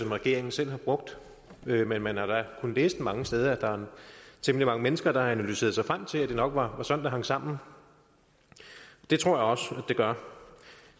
regeringen selv har brugt men man har da kunnet læse mange steder at der er temmelig mange mennesker der har analyseret sig frem til at det nok var sådan det hang sammen det tror jeg også det gør